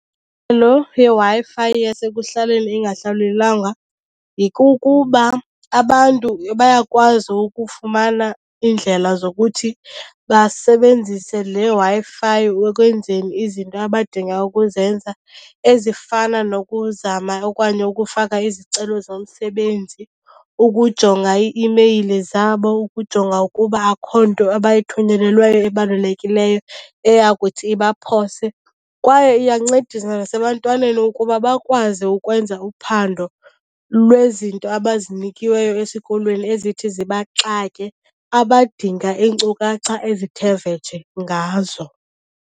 yeWi-Fi yasekuhlaleni ingahlawulelwanga yikukuba abantu bayakwazi ukufumana iindlela zokuthi basebenzise le Wi-Fi ekwenzeni izinto abadinga ukuzenza ezifana nokuzama okanye ukufaka izicelo zomsebenzi, ukujonga ii-imeyile zabo ukujonga ukuba akho nto abayithunyelelweyo ebalulekileyo eyakuthi ibaphose. Kwaye iyancedisa nasebantwaneni ukuba bakwazi ukwenza uphando lwezinto abazinikiweyo esikolweni ezithi zibaxake, abadinga iinkcukacha ezithe vetshe ngazo.